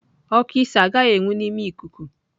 Oku isi agaghị enwu n'ime ikuku.